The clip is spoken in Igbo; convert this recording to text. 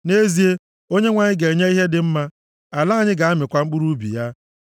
Nʼezie, Onyenwe anyị ga-enye ihe dị mma, ala anyị ga-amịkwa mkpụrụ ubi ya.